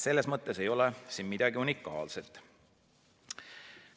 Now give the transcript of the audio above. Selles mõttes ei ole siin midagi unikaalset.